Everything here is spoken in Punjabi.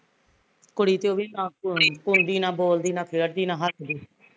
ਕੁੜੀ ਤੇ ਉਹ ਵੀ ਨਾ ਘੁਲਦੀ, ਨਾ ਬੋਲਦੀ, ਨਾ ਖੇਡਦੀ, ਨਾ ਹੱਸਦੀ